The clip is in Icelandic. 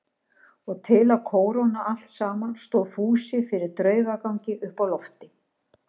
Og til að kóróna allt saman stóð Fúsi fyrir draugagangi uppi á lofti.